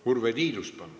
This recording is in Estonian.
Urve Tiidus, palun!